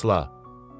Əsla.